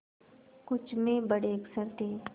कुछ में बड़े अक्षर थे